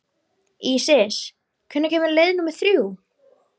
Ísis, hvenær kemur leið númer þrjú?